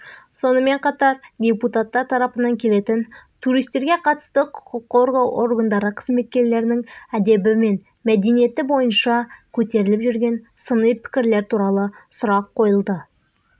сонымен қатар депутаттар тарапынан келетін туристерге қатысты құқыққорғау органдары қызметкерлерінің әдебі мен мәдениеті бойынша көтеріліп жүрген сыни пікірлер туралы сұрақ қойылды